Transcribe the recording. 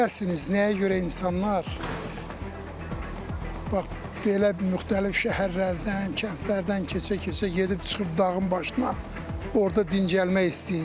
Bilərsiniz, nəyə görə insanlar bax belə müxtəlif şəhərlərdən, kəndlərdən keçə-keçə gedib çıxıb dağın başına orda dincəlmək istəyir.